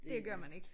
Det gør man ikke